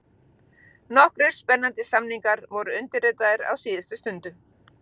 Nokkrir spennandi samningar voru undirritaðir á síðustu stundu: